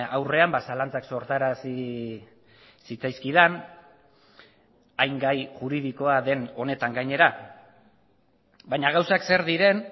aurrean zalantzak sortarazi zitzaizkidan hain gai juridikoa den honetan gainera baina gauzak zer diren